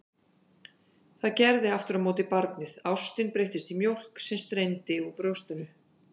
Það gerði aftur á móti barnið, ástin breyttist í mjólk sem streymdi úr brjóstinu.